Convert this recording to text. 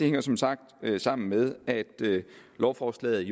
jo som sagt sammen med at lovforslaget